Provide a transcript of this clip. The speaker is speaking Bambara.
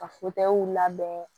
Ka labɛn